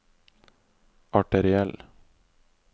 arteriell